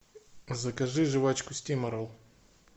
закажи жвачку стиморол